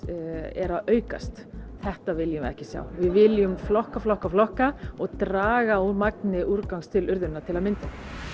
er að aukast þetta viljum við ekki sjá við viljum flokka flokka flokka og draga úr magni úrgangs til urðunar til að mynda